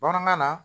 Bamanankan na